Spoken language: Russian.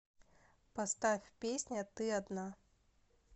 поставь песня ты одна